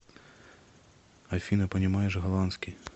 афина понимаешь голландский